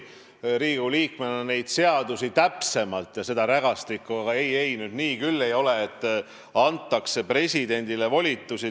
Teie teate Riigikogu liikmena neid seadusi ja seda rägastikku muidugi täpsemalt, aga ei-ei, nii küll ei ole, et antakse presidendile volitusi.